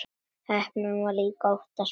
Heppnin var líka oftast með.